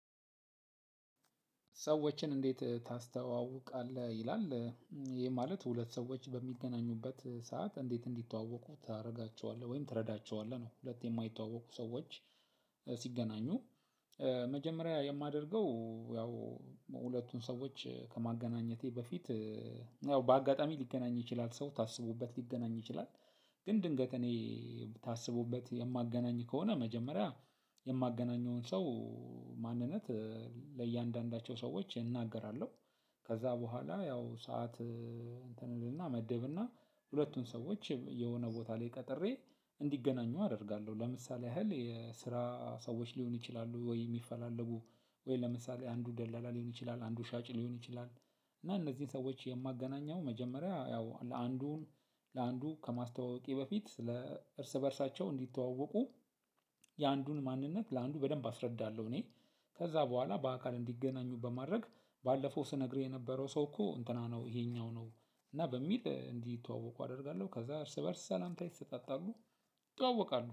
"ሰዎችን እንዴት ታስተዋውቃለህ?" ይላል ይሄ ማለት ሁለት ሰዎች በሚገናኙበት ሰዓት እንዴት እንዲተዋወቁ ታደርጋቸዋለህ ወይም ትረዳቸዋለህ ነው ሁለት የማይተዋወቁ ሰዎች ሲገናኙ መጀመሪያ የማደርገው ያው ሁለቱን ሰዎች ከማገናኘቴ በፊት ያው በአጋጣሚ ሊገናኝ ይችላል ሰው ታስቦበት ሊገናኝ ይችላል፤ ግን ድንገት እኔ ታስቦበት የማገናኝ ከሆነ መጀመሪያ የማገናኘውን ሰው ማንነት ለእያንዳንዳቸው ሰዎች እናገራለሁ። ከዛ በኋላ ያው ሰዓት እንትን እልና መድብና ሁለቱን ሰዎች የሆነ ቦታ ላይ ቀጥሬ እንዲገናኙ አደርጋለሁ። ለምሳሌ ያህል የስራ ሰዎች ሊሆኑ ይችላሉ፣ ወይም የሚፈላለጉ ወይ ለምሳሌ አንዱ ደላላ ሊሆን ይችላል አንዱ ሻጭ ሊሆን ይችላል እና እነዚህን ሰዎች የማገናኘው መጀመሪያ ያው ለ አንዱን ለአንዱ ከማስተዋወቄ በፊት ለ እርስ በእርሳቸው እንዲተዋወቁ የአንዱን ማንነት ለአንዱ በደንብ አስረዳለሁ እኔ ከዛ በኋላ በአካል እንዲገናኙ በማድረግ ባለፈው ስነግርህ የነበረው ሰው እኮ እንትና ነው ይሄኛው ነው እና በሚል እንዲተዋወቁ አደርጋለሁ። ከዛ እርስ በእርስ ሰላምታ ይሰጣጣሉ ይተዋወቃሉ።